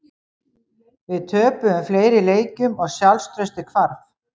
Við töpuðum fleiri leikjum og sjálfstraustið hvarf.